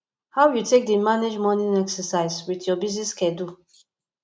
how you dey take manage morning exercise with your busy schedule